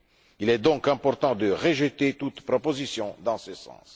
Il est donc important de rejeter toute proposition en ce sens.